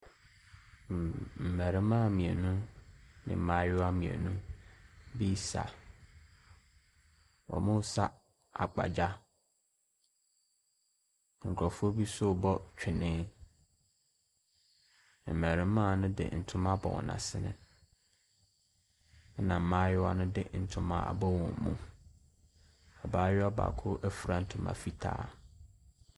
Mm…mmarimaa mmienu ne mmaayewa mmienu bi resa. Wɔresa agbadza. Nkurɔfoɔ bi nso rebɔ twene. Mmarimaa no de ntoma abɔ wɔn asene, ɛna mmaayewa no de ntoma abɔ wɔn mu. Abaayewa baako afira ntoma fitaa.